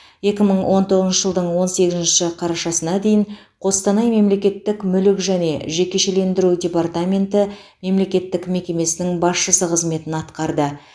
екі мың он тоғызыншы жылдың он сегізінші қарашасына дейін қостанай мемлекеттік мүлік және жекешелендіру департаменті мемлекеттік мекемесінің басшысы қызметін атқарды